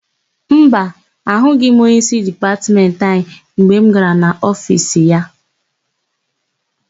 Mba, ahụghị m onyeísí Dipatmentị anyị mgbe m gara n'ofiisi ya.